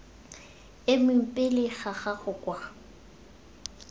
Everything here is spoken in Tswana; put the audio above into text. emeng pele ga gago kwa